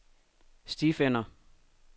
stifinder